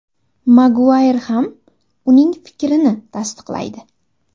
Maguayr ham uning fikrini tasdiqlaydi.